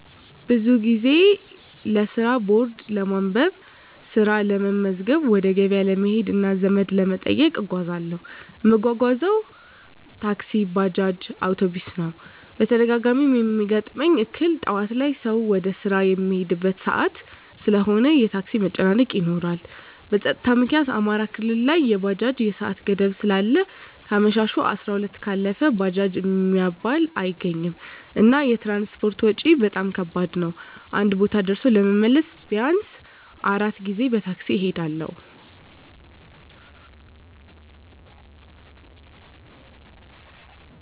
ብዙ ጊዜ ለስራ ቦርድ ለማንበብ፣ ስራ ለመመዝገብ፣ ወደ ገበያ ለመሄድ እና ዘመድ ለመጠየቅ እጓዛለሁ። እምጓጓዝበት ታክሲ፣ ባጃጅ፣ አዉቶቢስ ነዉ። በተደጋጋሚ እሚያጋጥመኝ እክል ጠዋት ላይ ሰዉ ወደ ስራ እሚሄድበት ሰአት ስለሆነ የታክሲ መጨናነቅ ይኖራል። በፀጥታዉ ምክኒያት አማራ ክልል ላይ የባጃጅ የሰአት ገደብ ስላለ ከአመሸሁ 12 ሰአት ካለፈ ባጃጅ እሚባል አይገኝም። እና የትራንስፖርት ወጭ በጣም ከባድ ነዉ አንድ ቦታ ደርሶ ለመመለስ ቢያንስ 4 ጊዜ በታክሲ እሄዳለሁ።